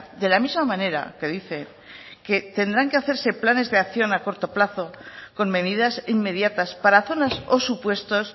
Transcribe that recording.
de la misma manera que dice que tendrán que hacerse planes de acción a corto plazo con medidas inmediatas para zonas o supuestos